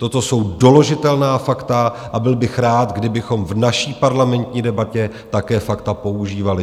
Toto jsou doložitelná fakta a byl bych rád, kdybychom v naší parlamentní debatě také fakta používali.